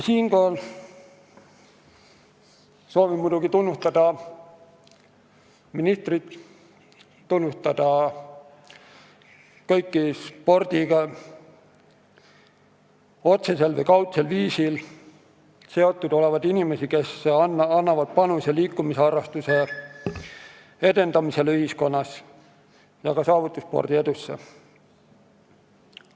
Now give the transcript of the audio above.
Siinkohal soovin muidugi tunnustada ministrit, samuti kõiki spordiga otsesel või kaudsel viisil seotud inimesi, kes annavad panuse liikumisharrastuse edendamisse ühiskonnas ja ka saavutusspordi edusse.